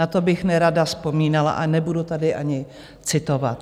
Na to bych nerada vzpomínala a nebudu tady ani citovat.